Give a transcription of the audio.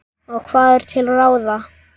Og hvað er til ráða?